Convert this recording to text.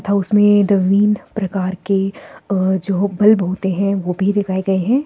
तथा उसमें नवीन प्रकार के अ जो बल्ब होते हैं वो भी दिखाए गए हैं।